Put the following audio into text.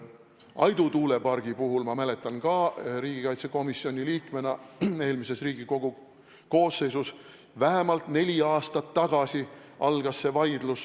Aidu tuulepargi vaidlus – ma mäletan seda ka riigikaitsekomisjoni liikmena eelmises Riigikogu koosseisus – algas vähemalt neli aastat tagasi.